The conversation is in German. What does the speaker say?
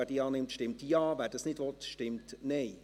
Wer diese annimmt, stimmt Ja, wer dies nicht will, stimmt Nein.